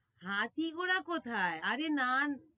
হাতি ঘোড়া কোথায়, আরে না~